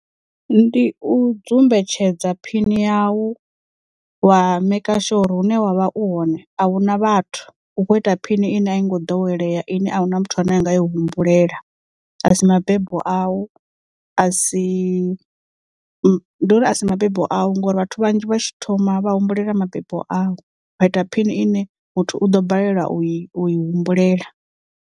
Ndi u dzumbetshedza phini yau wa maker sure uri hune wa vha u hone ahuna vhathu u kho ita phini ine a i ngo ḓowelea ine a huna muthu ane anga i humbulela a si mabebo au a si uri a si mabebo au ngauri vhathu vhanzhi vha tshi thoma vha humbulela mabebo au vha ita phini ine muthu u ḓo balelwa u i humbulela.